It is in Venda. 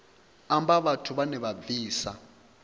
amba vhathu vhane vha bvisa